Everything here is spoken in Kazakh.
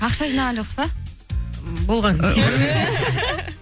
ақша жинаған жоқсыз ба болған